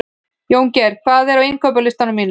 Jóngeir, hvað er á innkaupalistanum mínum?